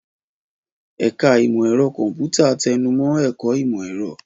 Ẹ̀ka Ìmọ̀ Ẹ̀rọ Kọ̀m̀pútà tẹnu mọ́ ẹ̀kọ́ ìmọ̀-ẹ̀rọ.